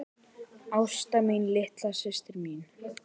Ásta mín, litla systir mín.